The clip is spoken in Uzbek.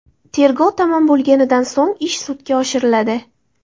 Tergov tamom bo‘lganidan so‘ng ish sudga oshiriladi.